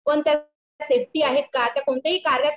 पण त्यात सेफ्टी आहे का कोणत्याही कार्यात